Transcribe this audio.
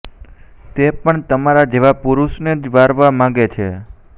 તે પણ તમારા જેવા પુરૂષને જ વરવા માગે છે